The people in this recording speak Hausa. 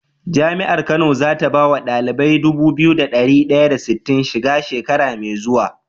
Jami'ar kano zata bawa ɗalibai Dubu biyu da dari daya da sitin shiga shekara me zuwa?